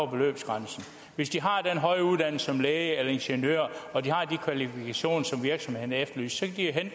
beløbsgrænsen hvis de har en høj uddannelse som læge eller ingeniør og de har de kvalifikationer som virksomhederne efterlyser